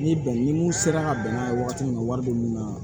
Ni bɛn ni mun sera ka bɛn n'a ye wagati min na wari bɛ mun na